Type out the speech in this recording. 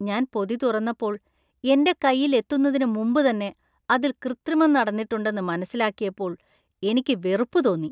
ഞാൻ പൊതി തുറന്നപ്പോൾ, എന്‍റെ കയ്യിൽ എത്തുന്നതിന് മുമ്പ് തന്നെ അതിൽ കൃത്രിമം നടന്നിട്ടുണ്ടെന്ന് മനസ്സിലാക്കിയപ്പോൾ എനിക്ക് വെറുപ്പ് തോന്നി.